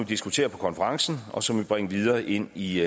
diskuterer på konferencen og som vi vil bringe videre ind i